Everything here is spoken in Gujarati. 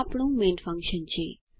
આ આપણું મેઇન ફંકશન છે